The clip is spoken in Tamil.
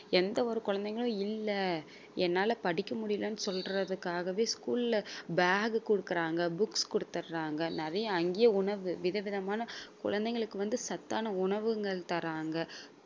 எந்த ஒரு குழந்தைங்களும் இல்ல என்னால படிக்க முடியலன்னு சொல்றதுக்காகவே school ல bag கொடுக்கிறாங்க books கொடுத்துடுறாங்க நிறைய அங்கயே உணவு விதவிதமான குழந்தைங்களுக்கு வந்து சத்தான உணவுகள் தர்றாங்க